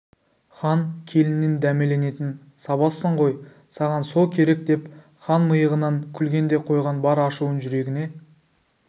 хан келінінен дәмеленетін сабазсың ғой саған со керекдеп хан миығынан күлген де қойған бар ашуын жүрегіне